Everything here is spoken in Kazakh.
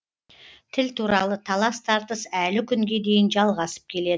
тіл туралы талас тартыс әлі күнге дейін жалғасып келеді